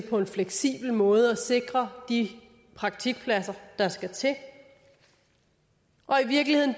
på en fleksibel måde at sikre de praktikpladser der skal til og i virkeligheden